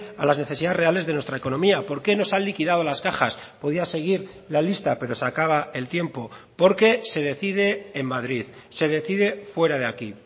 a las necesidades reales de nuestra economía por qué nos han liquidado las cajas podía seguir la lista pero se acaba el tiempo porque se decide en madrid se decide fuera de aquí